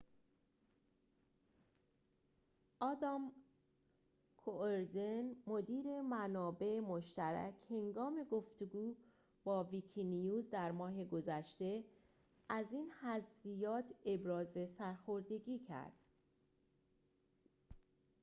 آدام کوئردن مدیر منابع مشترک هنگام گفتگو با ویکی‌نیوز در ماه گذشته از این حذفیات ابراز سرخوردگی کرد